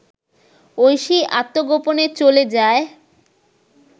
ঐশী আত্মগোপনে চলে যায়